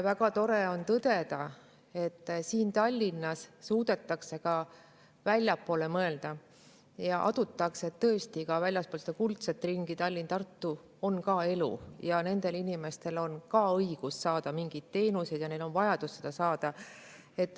Väga tore on tõdeda, et siin Tallinnas suudetakse ka siit väljapoole mõelda ja adutakse, et tõesti ka väljaspool seda kuldset ringi, Tallinna ja Tartut, on ka elu ning nendel inimestel on ka õigus saada mingeid teenuseid ja neil on vajadus neid saada.